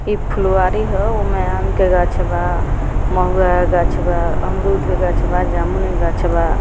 इ फुलवारी ह उमें आम के गाछ बा महुआ के गाछ बा अमरूद के गाछ बा जामुन के गाछ बा।